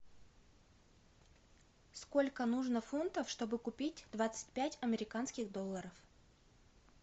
сколько нужно фунтов чтобы купить двадцать пять американских долларов